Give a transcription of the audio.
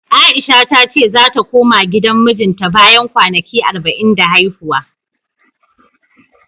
A'isha ta ce zata koma gidan mijinta bayan kwanaki arba'in da haihuwa.